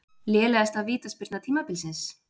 Lélegasta vítaspyrna tímabilsins?